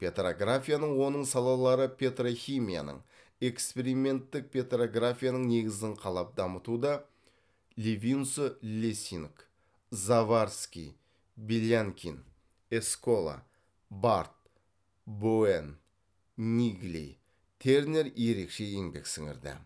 петрографияның оның салалары петрохимияның эксперименттік петрографияның негізін қалап дамытуда левинсо лессинг заварский белянкин эскола барт боуэн ниггли тернер ерекше еңбек сіңірді